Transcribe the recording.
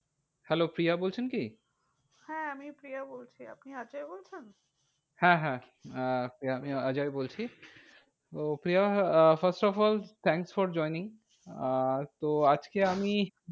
Hello Priya বলছেন কি? হ্যাঁ আমি প্রিয়া বলছি, আপনি অজয় বলছেন? হ্যাঁ হ্যাঁ আহ আমি অজয় বলছি। ওহ Priya ah first of all thanks for joining. আহ তো আজকে আমি,